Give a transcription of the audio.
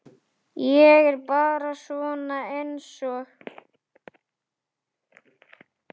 Ég er bara svona einsog.